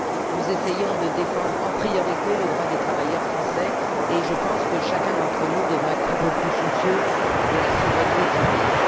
Nous essayons donc de défendre en priorité le droit des travailleurs français. Je pense que chacun d'entre nous devrait être un peu plus soucieux de la souveraineté de son pays.